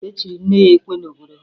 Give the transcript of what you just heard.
E chiri nne ya ekwe n'obodo ha